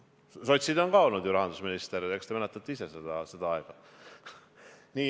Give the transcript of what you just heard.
Sotside seast on ju ka olnud rahandusminister, eks te mäletate ise seda aega.